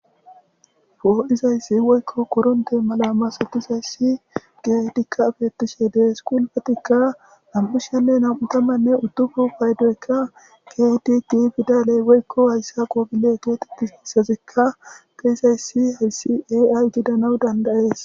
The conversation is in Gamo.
Poo7izayssi woykko koronththe mala masathizayssi keehidikka beeththishe de7ees; qulfethikka nam7u sha7anne nam7u thamanne uddufun paydoykka keehidi giigida lewekko; heyssa gidanawu danddayees.